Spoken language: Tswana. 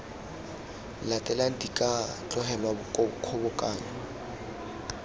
latelang di ka tlogelwa kgobokanyo